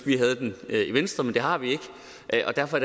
vi havde den i venstre men det har vi ikke og derfor